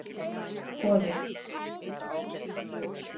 Goði